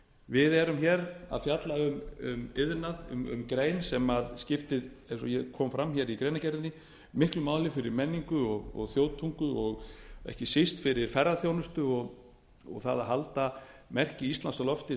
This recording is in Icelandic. við erum hér að fjalla um iðnað um grein sem skiptir eins og kom fram hér í greinargerðinni miklu máli fyrir menningu og þjóðtungu og ekki síst fyrir ferðaþjónustu og það að halda merki íslands á lofti